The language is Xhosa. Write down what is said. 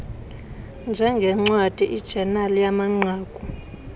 njengncwadi ijenali yamanqaku